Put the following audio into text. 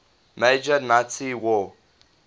major nazi war